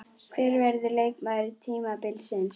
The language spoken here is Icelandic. Hver verður leikmaður tímabilsins?